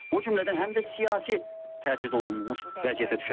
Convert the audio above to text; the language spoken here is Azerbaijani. O cümlədən həm də siyasi təcrid olunmuş vəziyyətə çıxacaqlar.